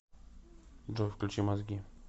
джой включи мозги